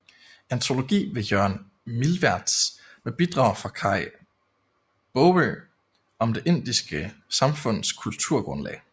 Antologi ved Jørgen Milwertz med bidrag af Kaj Baagø om det indiske samfunds kulturgrundlag